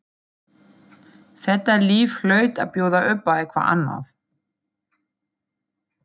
Hann pissaði þá ekki á meðan í skó móður hans.